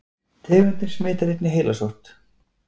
tegundin smitar einnig heilasótt